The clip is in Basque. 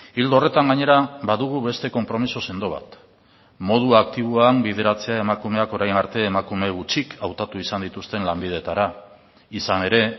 ildo horretan gainera badugu beste konpromiso sendo bat modu aktiboan bideratzea emakumeak orain arte emakume gutxik hautatu izan dituzten lanbideetara izan ere